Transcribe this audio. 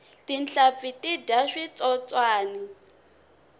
tinhlampfi ti dya switsotswani